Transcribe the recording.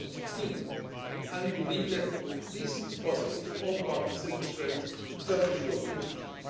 globally by 2015. We believe that this is possible if all partners demonstrate firm